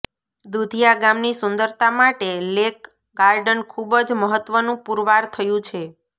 દુધિયા ગામની સુંદરતા માટે લેકગાર્ડન ખૂબ જ મહત્વનું પૂરવાર થયું છે